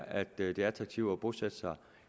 at det er attraktivt at bosætte sig